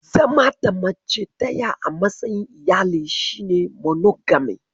Zama da mace daya a matsayin iyali shi ne monogamy.